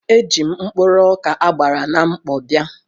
Eji m mkpụrụ ọkà a gbara na mkpọ bịa.